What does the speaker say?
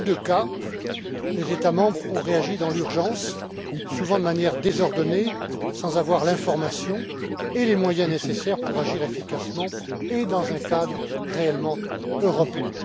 Dans les deux cas, les États membres ont réagi dans l'urgence, souvent de manière désordonnée sans avoir l'information et les moyens nécessaires pour agir efficacement et dans un cadre réellement européen.